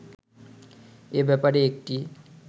এ ব্যাপারে একটি